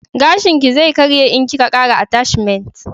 Gashin ki zai karye in ki ka kara atashmant